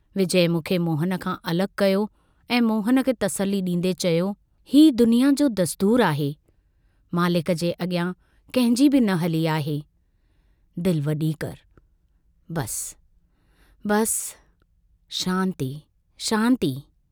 विजय मूंखे मोहन खां अलग कयो ऐं मोहन खे तसल्ली डींदे चयो, हीउ दुनिया जो दस्तूर आहे, मालिक जे अग्रयां कंहिंजी बि न हली आहे, दिल वड़ी करि बस... बस... शांति... शांति...।